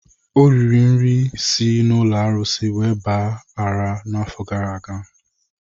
Ọ riri nri si n'ụlọ arụsị wee gba ara n'afọ gara aga.